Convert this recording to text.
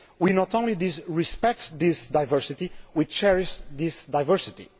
We not only respect this diversity, we cherish this diversity